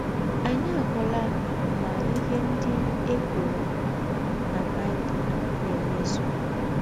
Anyị ahụla na ihe ndị a e kwụrụ na Baịbụl na - emezụ!